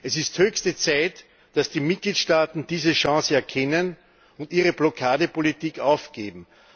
Es ist höchste Zeit, dass die Mitgliedstaaten diese Chance erkennen und ihre Blockadepolitik aufgeben.